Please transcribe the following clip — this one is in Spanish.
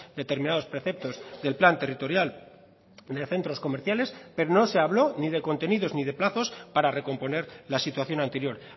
determinados preceptos del plan territorial de centros comerciales pero no se habló ni de contenidos ni de plazos para recomponer la situación anterior